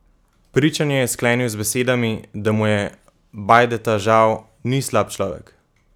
Pričanje je sklenil z besedami, da mu je Bajdeta žal: "Ni slab človek.